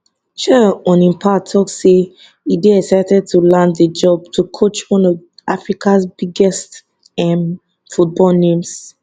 chelle on im part tok say e dey excited to land di job to coach one of africa biggest um football names